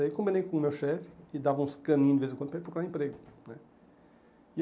Aí eu combinei com o meu chefe e dava uns caninhos de vez em quando para ir procurar emprego né.